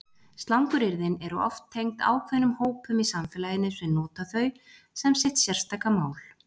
Slanguryrðin eru oft tengd ákveðnum hópum í samfélaginu sem nota þau sem sitt sérstaka mál.